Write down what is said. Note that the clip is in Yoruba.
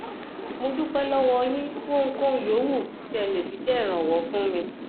mo dúpẹ lọwọ yín fún ohunkóhun yòówù tí ẹ lè fi jẹ ìrànwọ fún mi